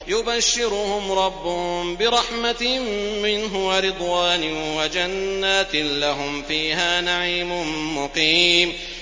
يُبَشِّرُهُمْ رَبُّهُم بِرَحْمَةٍ مِّنْهُ وَرِضْوَانٍ وَجَنَّاتٍ لَّهُمْ فِيهَا نَعِيمٌ مُّقِيمٌ